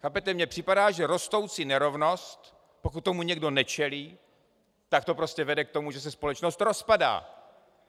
Chápete, mně připadá, že rostoucí nerovnost, pokud tomu někdo nečelí, tak to prostě vede k tomu, že se společnost rozpadá.